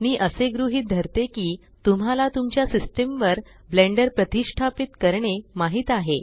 मी असे गृहीत धरते की तुम्हाला तुमच्या सिस्टम वर ब्लेण्डर प्रतिष्टापीत करणे माहीत आहे